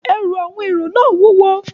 Ẹrù àwọn èrò náà wúwo